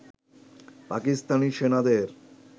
পাকিস্তানি সেনাদের